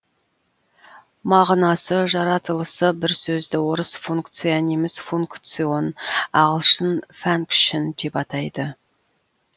мағынасы жаратылысы бір сөзді орыс функция неміс функцион ағылшын фәнкшэн деп айтады